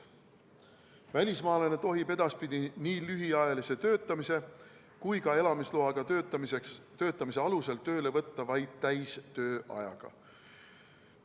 Välismaalase tohib edaspidi nii lühiajalise töötamise kui ka elamisloa alusel töötamise korral tööle võtta vaid täistööajaga.